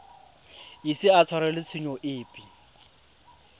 ise a tshwarelwe tshenyo epe